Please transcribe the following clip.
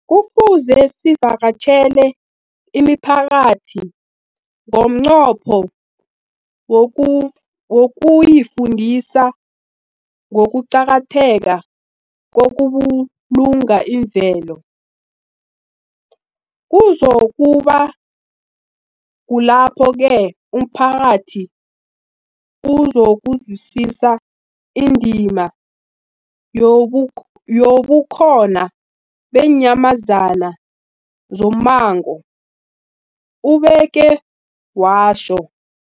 Kufuze sivakatjhele imiphakathi ngomnqopho wokuyifundisa ngokuqakatheka kokubulunga imvelo. Kuzoku ba kulapho-ke umphakathi uzokuzwisisa indima yobukhona beenyamazana zommango, ubeke watjho.